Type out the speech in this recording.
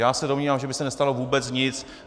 Já se domnívám, že by se nestalo vůbec nic.